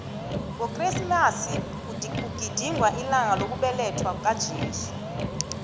ngokresimasi kugidingwa ilanga lokubelethwakwaka jesu